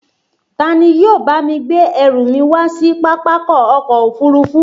Ta ni yóò bá mi gbé ẹrù mi wá sí Pápákọ̀ ọkọ̀ òfurufú